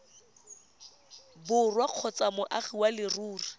borwa kgotsa moagi wa leruri